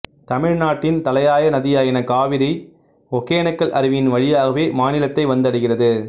தமிழ்நாட்டின் தலையாய நதியான காவிரி ஒகேனக்கல் அருவியின் வழியாகவே மாநிலத்தை வந்தடைகிறது